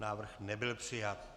Návrh nebyl přijat.